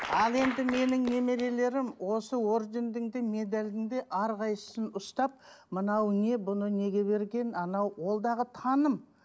ал енді менің немерелерім осы ордендің де медалдің де әрқайсысын ұстап мынау не бұны неге берген анау ол дағы таным